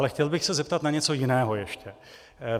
Ale chtěl bych se zeptat na něco jiného ještě.